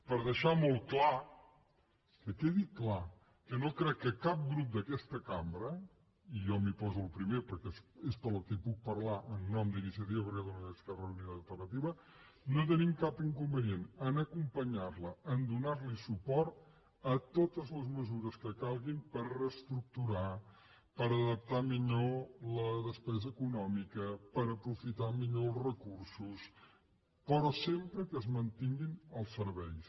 per deixar molt clar que quedi clar que no crec que cap grup d’aquesta cambra i jo m’hi poso el primer perquè és per qui puc parlar en nom d’iniciativa per catalunya verds esquerra unida i alternativa tingui cap inconvenient a acompanyar la a donar li suport en totes les mesures que calguin per reestructurar per adaptar millor la despesa econòmica per aprofitar millor els recursos però sempre que es mantinguin els serveis